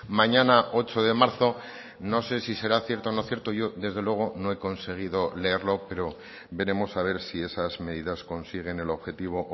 mañana ocho de marzo no sé si será cierto o no cierto yo desde luego no he conseguido leerlo pero veremos a ver si esas medidas consiguen el objetivo o